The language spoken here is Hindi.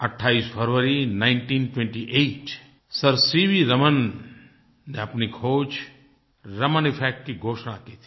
28 फरवरी 1928 सर सीवी रमन ने अपनी खोज रमन इफ़ेक्ट की घोषणा की थी